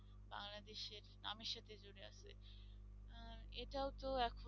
বাংলাদেশের এর নামের সাথে জুড়ে আছে। এটাও তো একপ্রকার